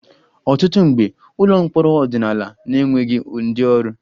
Ọtụtụ mgbe, ụlọ mkpọrọ ọdịnala na-enweghị ndị ọrụ